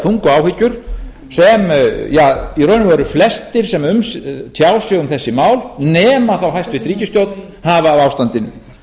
þungu áhyggjur sem í raun og veru flestir sem tjá sig um þessi mál nema þá hæstvirt ríkisstjórn hafa af ástandinu